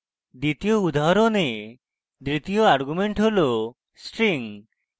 দ্বিতীয় উদাহরণে দ্বিতীয় argument হল string